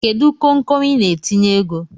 Kedu konkon Ị na-etinye ego?